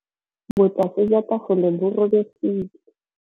Botlasê jwa tafole bo robegile.